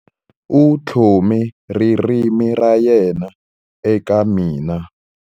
U tlhome ririmi ra yena eka mina.